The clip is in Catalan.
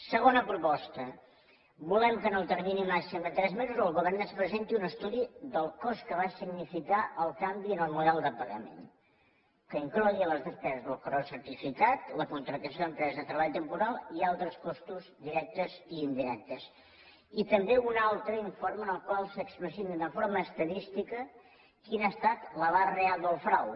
segona proposta volem que en el termini màxim de tres mesos el govern ens presenti un estudi del cost que va significar el canvi en el model de pagament que inclogui les despeses del correu certificat la contractació d’empresa de treball temporal i altres costos directes i indirectes i també un altre informe en el qual s’expliciti d’una forma estadística quin ha estat l’abast real del frau